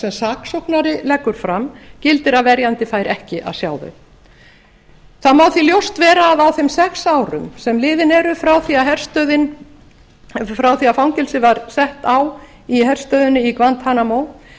sem saksóknari leggur fram gildir að verjandi fær ekki að sjá þau það má því ljóst vera að á þeim sex árum sem liðin eru frá því að fangelsi var sett á í herstöðinni á